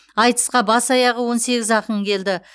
айтысқа бас аяғы он сегіз ақын келді